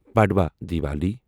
Padwa Diwali